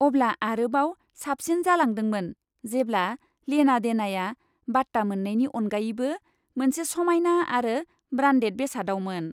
अब्ला आरोबाव साबसिन जालांदोंमोन जेब्ला लेना देनाया बाट्टा मोन्नायनि अनगायैबो मोनसे समायना आरो ब्रान्डेद बेसादावमोन।